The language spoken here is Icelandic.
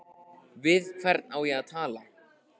Við hvern á ég að tala?